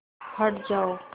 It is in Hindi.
हट जाओ